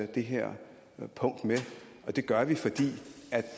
det her punkt med det gør vi fordi vi